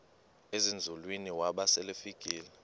ezinzulwini waba selefika